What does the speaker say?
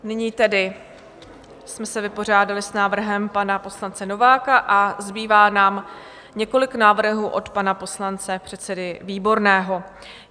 Nyní tedy jsme se vypořádali s návrhem pana poslance Nováka a zbývá nám několik návrhů od pana poslance, předsedy Výborného.